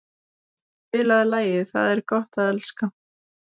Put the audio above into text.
Freyja, spilaðu lagið „Það er gott að elska“.